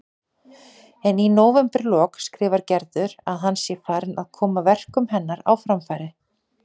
En í nóvemberlok skrifar Gerður að hann sé farinn að koma verkum hennar á framfæri.